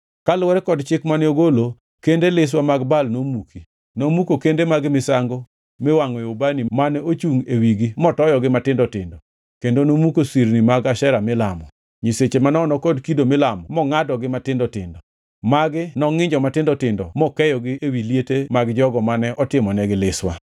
Kaluwore kod chik mane ogolo, kende liswa mag Baal nomuki; nomuko kende mag misango miwangʼoe ubani mane ochungʼ e wigi motoyogi matindo tindo, kendo nomuko sirni mag Ashera milamo, nyiseche manono kod kido milamo mongʼadogi matindo tindo. Magi nongʼinjo matindo tindo mokeyogi ewi liete mag jogo mane otimonegi liswa.